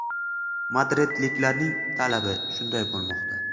Madridliklarning talabi shunday bo‘lmoqda.